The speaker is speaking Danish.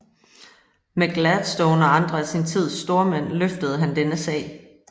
Med Gladstone og andre af sin tids stormænd drøftede han denne sag